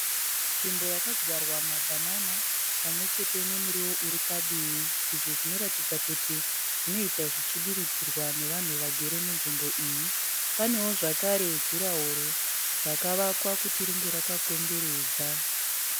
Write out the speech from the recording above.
Nzvimbo yakadyarwa mabanana pamwechete nemiriwo uri padivi izvi zvinoratidza kuti zvinoita zvichidiridzirwa nevanhu vakagara munzvimbo iyi, panewo zvakare juraworo rakavakwa kuti ringe rakakomberedza.